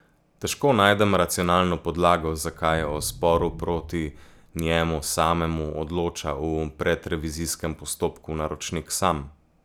Težko najdem racionalno podlago, zakaj o sporu proti njemu samemu odloča v predrevizijskem postopku naročnik sam.